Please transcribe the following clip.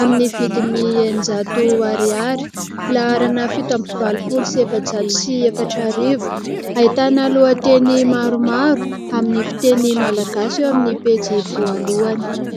amin'ny vidin'ny eninjato ariary, laharana fito ambin'ny valopolo sy efajato sy efatra arivo. Ahitana lohanteny maromaro amin'ny fiteny malagasy eo amin'ny pejy voalohany.